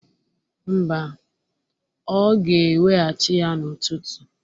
Mba, ọ ga-eweghachi ya n'ụtụtụ